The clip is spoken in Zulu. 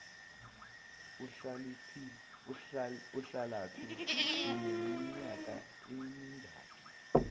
uhlalaphi uneminyaka emingaki